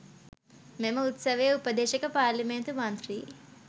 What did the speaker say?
මෙම උත්සවයේ උපදේශක පාරේලිමේන්තු මන්ත්‍රී